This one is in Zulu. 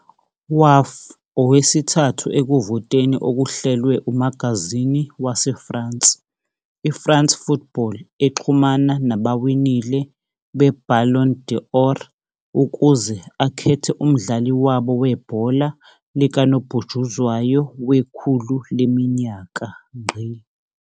Waf okwesithathu ekuvoteni okuhlelwe umagazini waseFrance i-France Football exhumana nabawinile be-Ballon d'Or ukuze akhethe umdlali wabo webhola likanobhutshuzwayo wekhulu leminyaka.